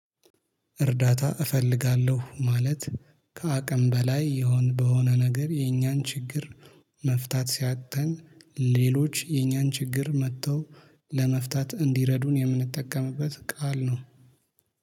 እርዳታ እፈልጋለሁ ማለት ከአቅም በላይ ይሆን በሆነ ነገር የኛን ችግር መፍታት ሲያቅተን ሌሎች የኛን ችግር መጥተው ለመፍታት እንዲረዱን የምንጠቀምበት ቃል ነው